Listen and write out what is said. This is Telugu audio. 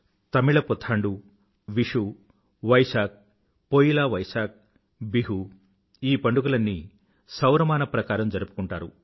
తమిళ పుథాండు విషు వైశాఖ్ పోయిలా వైశాఖ్బిహు ఈ పండుగలన్నీ సౌరమానం ప్రకారం జరుపుకుంటారు